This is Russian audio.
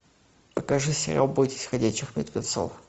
покажи сериал бойтесь ходячих мертвецов